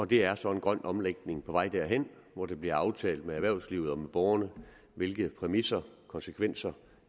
det er så en grøn omlægning på vej derhen hvor det bliver aftalt med erhvervslivet og med borgerne hvilke præmisser og konsekvenser